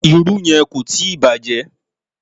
Irú yẹn kò tíì bàjẹ́.